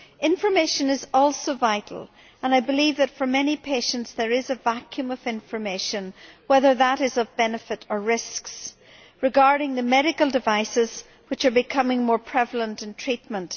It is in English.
Information is also vital, and I believe that for many patients there is a vacuum of information whether relating to benefits or risks regarding the medical devices which are becoming more prevalent in treatment.